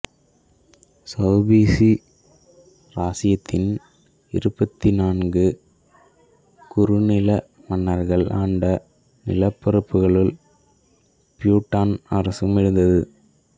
சௌபிசி இராச்சியத்தின் இருபத்தி நான்கு குறுநில மன்னர்கள் ஆண்ட நிலப்பரப்புகளுல் பியுட்டான் அரசும் இருந்தது